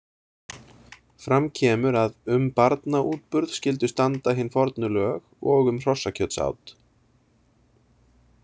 Fram kemur að „um barnaútburð skyldu standa hin fornu lög og um hrossakjötsát“.